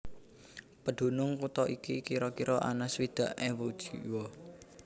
Pedunung kutha iki kira kira ana swidak ewu jiwa